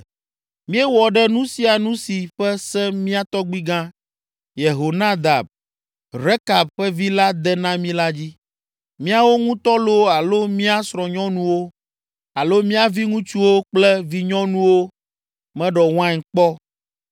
Míewɔ ɖe nu sia nu si ƒe se mía tɔgbuigã, Yehonadab, Rekab ƒe vi la de na mí la dzi. Míawo ŋutɔ loo alo mía srɔ̃nyɔnuwo, alo mia viŋutsuwo kple vinyɔnuwo meɖɔ wain kpɔ,